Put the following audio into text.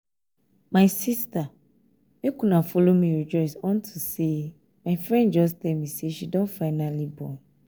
my sister make una follow me rejoice unto say my friend just dey tell me say she don finally born.